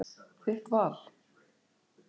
Þitt val.